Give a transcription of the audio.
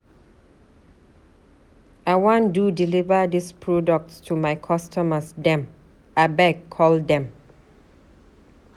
I wan do deliver dis products to my customers dem. Abeg call dem.